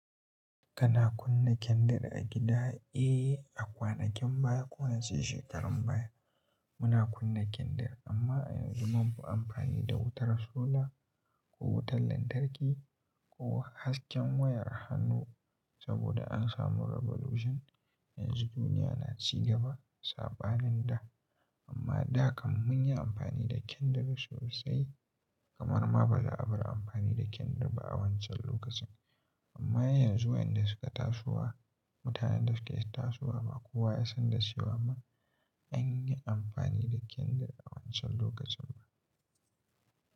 Kana kunna kendir a gida? Eh, a kwanakin baya ko waɗannan shekarun baya muna kunna kendir amma yanzu mun fi amfani da wutar sola ko wutar lantarki ko hasken wayar hannu saboda an samu revolution. Yanzu duniya na ci gaba saɓanin da amma da kan mun yi amfani da kendir sosai kamar ma ba za a bar amfani da kendir ba a wancan lokacin. Amma yanzu waƴanda suka tasowa, mutanen da suke tasowa ba kowa ya san da shi ba ma an yi amfani da kendir a wancan lokacin ba.